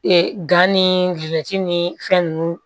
Ee gan ni guloki ni fɛn nunnu